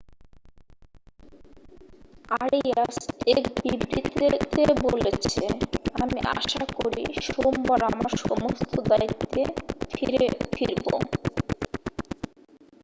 "Arias এক বিবৃতিতে বলেছে আমি আশা করি সোমবার আমার সমস্ত দায়িত্বে ফিরবো "।